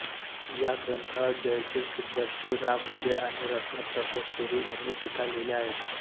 या ग्रंथावर जयसिंह सिद्धर्षी रामविजय आणि रत्नप्रभसूरी यांनी टीका लिहिल्या आहेत